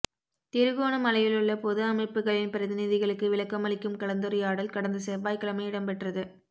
திருகோணமலையிலுள்ள பொது அமைப்புக்களின் பிரதிநிதிகளுக்கு விளக்கமளிக்கும் கலந்துரையாடல் கடந்த செவ்வாய்க்கிழமை இடம்பெற்றது